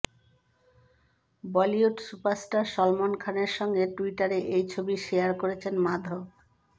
Bollywood superstar Salman খানের সঙ্গে ট্যুইটারে এই ছবি শেয়ার করেছেন মাধব